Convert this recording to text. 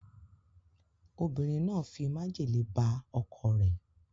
Obinrin na fi majele ba oko re